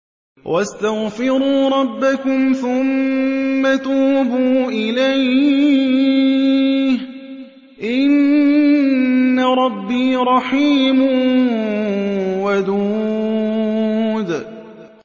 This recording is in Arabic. وَاسْتَغْفِرُوا رَبَّكُمْ ثُمَّ تُوبُوا إِلَيْهِ ۚ إِنَّ رَبِّي رَحِيمٌ وَدُودٌ